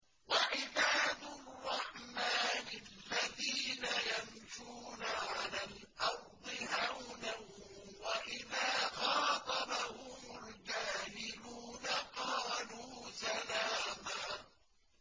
وَعِبَادُ الرَّحْمَٰنِ الَّذِينَ يَمْشُونَ عَلَى الْأَرْضِ هَوْنًا وَإِذَا خَاطَبَهُمُ الْجَاهِلُونَ قَالُوا سَلَامًا